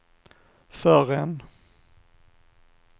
förrän